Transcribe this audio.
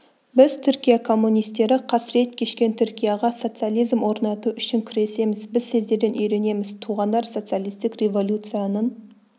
біз түркия коммунистері қасірет кешкен түркияға социализм орнату үшін күресеміз біз сіздерден үйренеміз туғандар социалистік революцияның